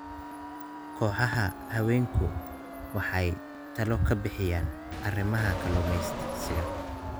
Kooxaha haweenku waxay talo ka bixiyaan arrimaha kalluumaysiga.